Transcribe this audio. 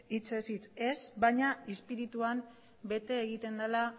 hitzez hitz ez baina izpirituan bete egiten dela